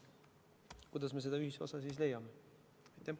Kuidas me seda ühisosa siis leiame?